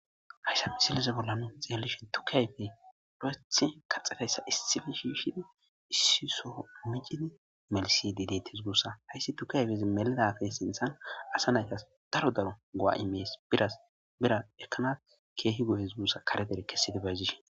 Hayssan misilezan nu xeelishin tuke ayfeti kaxxidayssa issipe shiishidi issi sohon miccidi melsidi deetees guusa. Hayssi tuke ayfee melizafe sinththan asa nay go7a immees. Biras ekanas keehi go7ees guussa kare dere krssid bayzishin.